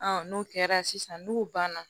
n'o kɛra sisan n'u banna